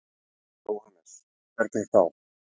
Jóhannes: Hvernig þá?